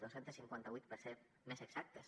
dos cents i cinquanta vuit per ser més exactes